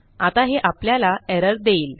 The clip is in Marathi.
आता हे आपल्याला एरर देईल